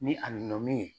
Ni a nana min ye